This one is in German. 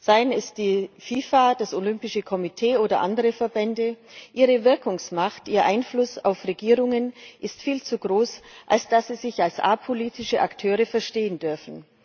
Sei es die FIFA, das Olympische Komitee oder andere Verbände ihre Wirkungsmacht, ihr Einfluss auf Regierungen ist viel zu groß, als dass sie sich als apolitische Akteure verstehen dürfen.